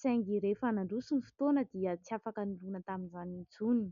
saingy rehefa nandroso ny fotoana dia tsy afaka nirona tamin'izany intsony.